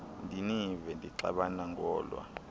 ndinive nixabana ngolwa